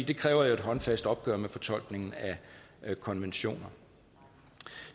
det kræver jo et håndfast opgør med fortolkningen af konventionerne